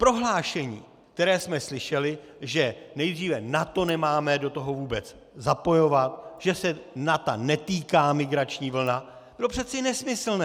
Prohlášení, které jsme slyšeli, že nejdříve NATO nemáme do toho vůbec zapojovat, že se NATO netýká migrační vlna, je přece nesmyslné.